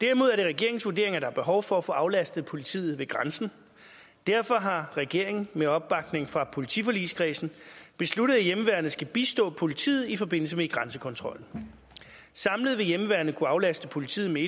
derimod er det regeringens vurdering at der er behov for at få aflastet politiet ved grænsen derfor har regeringen med opbakning fra politiforligskredsen besluttet at hjemmeværnet skal bistå politiet i forbindelse med grænsekontrollen samlet vil hjemmeværnet kunne aflaste politiet med